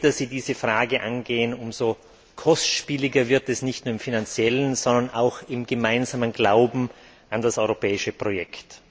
Je später Sie diese Frage angehen, umso kostspieliger wird es, nicht nur in finanzieller Hinsicht, sondern auch im gemeinsamen Glauben an das europäische Projekt.